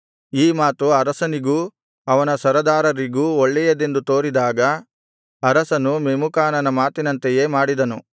ಈ ಮಾತು ಅರಸನಿಗೂ ಅವನ ಸರದಾರರಿಗೂ ಒಳ್ಳೆಯದೆಂದು ತೋರಿದಾಗ ಅರಸನು ಮೆಮೂಕಾನನ ಮಾತಿನಂತೆಯೇ ಮಾಡಿದನು